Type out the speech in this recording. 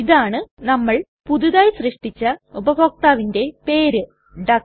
ഇതാണ് നമ്മൾ പുതിയതായി സൃഷ്ടിച്ച ഉപഭോക്താവിന്റെ പേര് ഡക്ക്